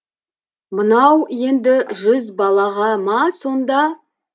мынау енді жүз балаға ма сонда